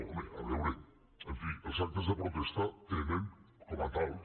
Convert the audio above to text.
home a veure en fi els actes de protesta tenen com a tals